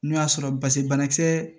N'o y'a sɔrɔ basibɛ kisɛ